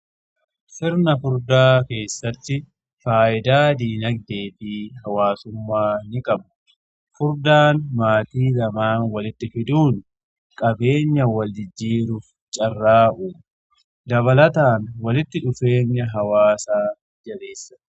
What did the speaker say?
Sirna fuudhaa keessatti faayidaa diinagdee fi hawaasummaa ni qabu. Fuudhaan maatii lamaan walitti fiduun qabeenya wal jijjiiruuf carraa'u dabalataan walitti dhufeenya hawaasaa jabeessa.